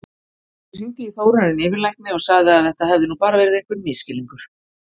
Ég hringdi í Þórarin yfirlækni og sagði að þetta hefði nú bara verið einhver misskilningur.